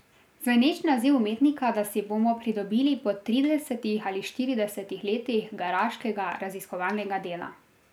Zveneč naziv umetnika da si bomo pridobili po tridesetih ali štiridesetih letih garaškega raziskovalnega dela.